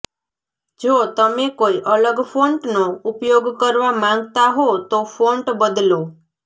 જો તમે કોઈ અલગ ફોન્ટનો ઉપયોગ કરવા માંગતા હો તો ફોન્ટ બદલો